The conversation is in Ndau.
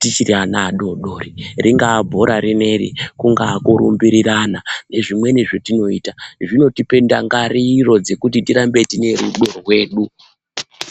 tichiri ana adoodori ,ringaa bhora rineri, kungaa kurumbirirana nezvimweniwo zvetinoita zvinotipe ndangariro yekuti tigare tine rudo.